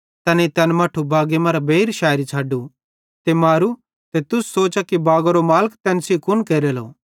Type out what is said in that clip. तैनेईं तैन मट्ठू बागी मरां बेइर शैरी छ़ड्डू ते मारू तुस सोचा कि फिरी बागारे मालिके तैन सेइं कुन केरेलो